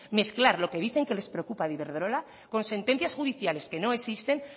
mezclar lo que dicen que les preocupa de iberdrola con sentencias judiciales que no existen